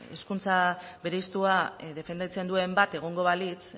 hizkuntza bereiztua defendatzen duen bat egongo balitz